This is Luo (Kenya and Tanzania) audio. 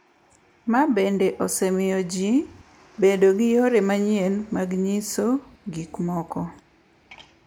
Ma bende osemiyo ji bedo gi yore manyien mag nyiso gik moko .